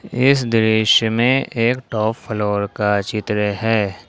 इस दृश्य में एक टॉप फ्लोर का चित्र है।